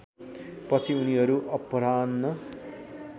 पछि उनीहरू अपराह्न